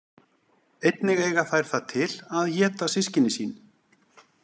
Einnig eiga þær það til að éta systkini sín.